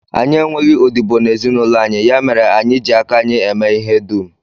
Anyị enweghị odibo n'ezinụlọ anyị, ya mere anyị ji aka anyị eme ihe dum